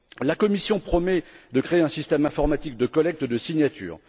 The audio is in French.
La Commission promet de créer un système informatique de collecte de signatures.